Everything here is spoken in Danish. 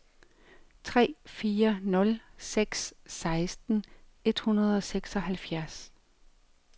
tre fire nul seks seksten et hundrede og seksoghalvfjerds